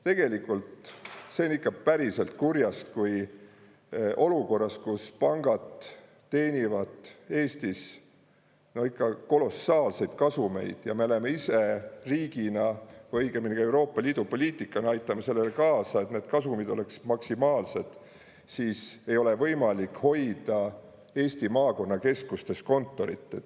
Tegelikult see on ikka päriselt kurjast, kui olukorras, kus pangad teenivad Eestis no ikka kolossaalseid kasumeid ja me oleme ise riigina või õigemini Euroopa Liidu poliitikaga aitame sellele kaasa, et need kasumid oleks maksimaalsed, siis ei ole võimalik hoida Eesti maakonnakeskustes kontorit.